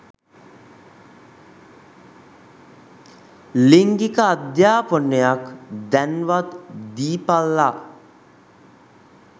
ලිංගික අධාපනයක් දැන්වත් දීපල්ලා.